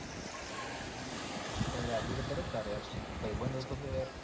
આબબું પડ ક તાર યાર ભાઈબંધ હતો તો યાર